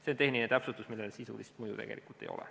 See on tehniline täpsustus, millel sisulist mõju tegelikult ei ole.